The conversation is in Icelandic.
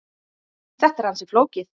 Þetta er ansi flókið.